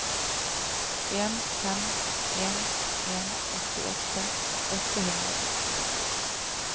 en fem en en åttiåtte åtte hundre og førtito